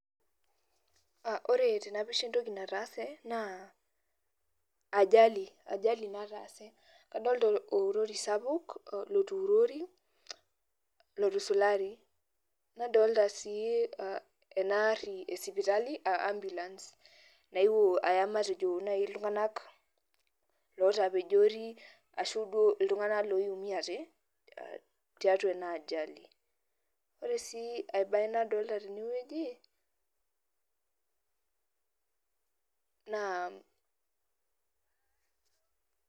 Ore tenapisha entoki nataase, naa ajali, ajali nataase. Kadolta olori sapuk lotuurori, lotusulari. Nadolta si enaarri esipitali ah ambulance. Naewuo aya matejo nai iltung'anak lotapejori ashu iltung'anak loiumiate, tiatua ena ajali. Ore si ai bae nadolta tenewueji, naa